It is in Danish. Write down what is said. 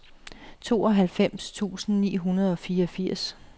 tooghalvfems tusind ni hundrede og fireogfirs